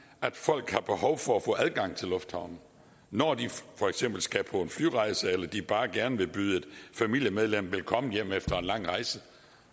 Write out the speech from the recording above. at folk har behov for at få adgang til lufthavnen når de for eksempel skal på en flyrejse eller de bare gerne vil byde et familiemedlem velkommen hjem efter en lang rejse